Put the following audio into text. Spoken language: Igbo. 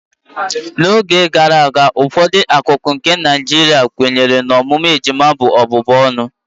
n'oge gara aga, ụfọdụ akụkụ nke Nigeria kwenyere na ọmụmụ ejima bụ ọbụbụ ọnụ